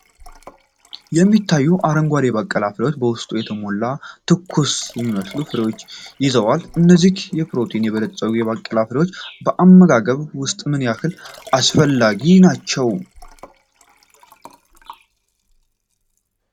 የሚታዩት አረንጓዴ የባቄላ ፍሬዎች በውስጣቸው የተሟሉ፣ ትኩስ የሚመስሉ ፍሬዎችን ይዘዋል። እነዚህ በፕሮቲን የበለፀጉ የባቄላ ፍሬዎች በአመጋገብ ውስጥ ምን ያህል አስፈላጊ ናቸው?